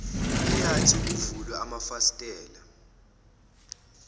eyathi kuvulwe amafasitela